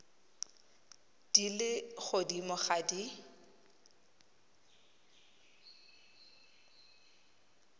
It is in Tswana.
di le godimo ga di